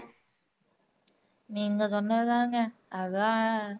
நீங்க சொன்னது தாங்க அதான்,